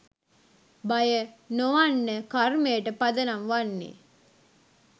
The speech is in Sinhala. භය නොවන්න කර්මයට පදනම් වන්නේ